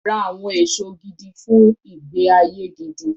Ra àwọn èso gidi fun ìgbé-ayé gidi.